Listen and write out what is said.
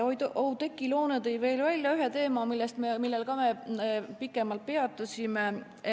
Oudekki Loone tõi välja veel ühe teema, millel me ka pikemalt peatusime.